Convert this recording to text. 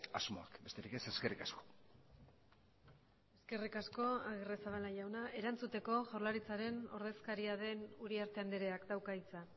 asmoak besterik ez eskerrik asko eskerrik asko agirrezabala jauna erantzuteko jaurlaritzaren ordezkaria den uriarte andreak dauka hitza